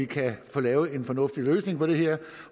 kan få lavet en fornuftig løsning på det her